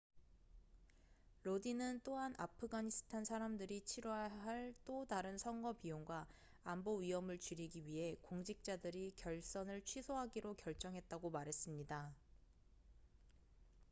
로딘은 또한 아프가니스탄 사람들이 치뤄야 할 또 다른 선거 비용과 안보 위험을 줄이기 위해 공직자들이 결선을 취소하기로 결정했다고 말했습니다